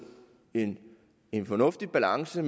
en en fornuftig balance og